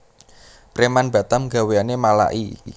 Preman Batam gaweane malaki